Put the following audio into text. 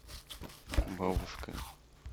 бабушка